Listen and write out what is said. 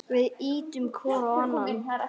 Við ýtum hvor á annan.